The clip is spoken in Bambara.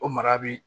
O mara bi